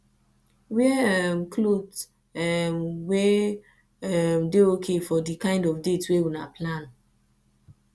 wear um cloth um wey um dey okay for di kind of date wey una plan